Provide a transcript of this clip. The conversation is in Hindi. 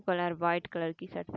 कलर वाइट कलर की शर्ट --